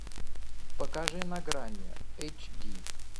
покажи на грани эйч ди